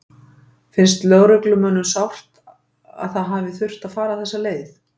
Finnst lögreglumönnum sárt að það hafi þurft að fara þessa leið?